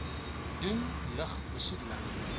doen lug besoedeling